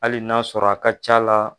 Hali n'a sɔrɔ a ka ca la.